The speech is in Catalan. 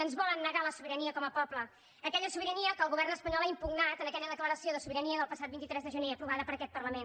ens volen negar la sobirania com a poble aquella sobirania que el govern espanyol ha impugnat en aquella declaració de sobirania del passat vint tres de gener aprovada per aquest parlament